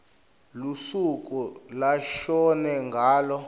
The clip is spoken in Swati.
lusuku lashone ngalo